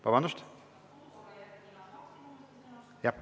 Vabandust!